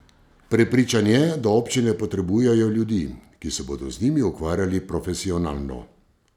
Prepričan je, da občine potrebujejo ljudi, ki se bodo z njimi ukvarjali profesionalno.